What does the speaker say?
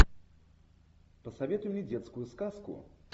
посоветуй мне детскую сказку